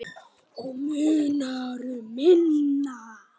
Og munar um minna!